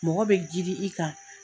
Mɔgɔ be girin i kan